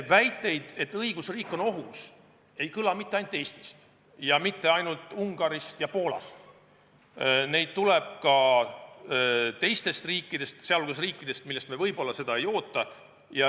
Väiteid, et õigusriik on ohus, ei kõla mitte ainult Eestist ja mitte ainult Ungarist ja Poolast, vaid neid tuleb ka teistest riikidest, sh sellistest, kellelt me seda võib-olla ei oota.